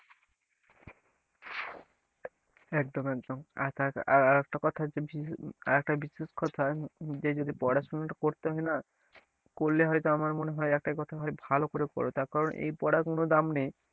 একদম একদম আর আর একটা কথা আর একটা বিশেষ কথা যে যদি পড়াশোনাটা করতে হয় না করলে হয়তো আমার মনে হয় একটাই কথা হয় ভালো করে পর তার কারণ এই পড়ার কোন দাম নেই,